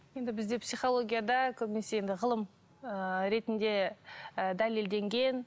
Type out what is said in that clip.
енді бізде психологияда көбінесе енді ғылым ыыы ретінде ы дәлелденген